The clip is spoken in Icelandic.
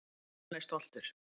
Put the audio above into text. Hann er stoltur.